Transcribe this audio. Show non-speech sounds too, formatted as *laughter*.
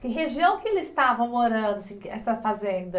Que região que eles estavam morando, *unintelligible* essa fazenda?